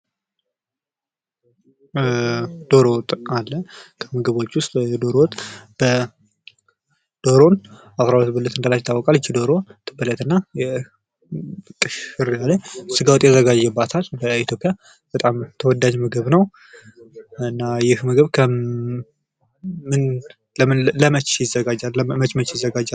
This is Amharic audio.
ዶሮ ወጥም አለ ከምግቦች ዉስጥ ዶሮ አስራ ሁለት ብልት እንዳላት ይታወቃል፤ ይህቺ ዶሮ ትበለትና ስጋወጥ ይዘጋጅባታል በተለያየ ኢትዮጵያ በጣም ተወዳጅ ምግብ ነው። እና ይህ ምግብ ለመቸ ይዘጋጃል፤ መች መች ይዘጋጃል?